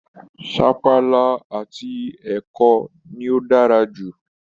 Sapala àti ẹ̀kọ ni ó dára jù